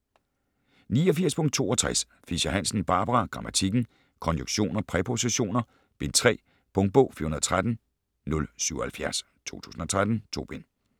89.62 Fischer-Hansen, Barbara: Grammatikken: Konjunktioner, præpositioner: Bind 3 Punktbog 413077 2013. 2 bind.